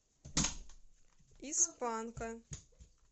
из панка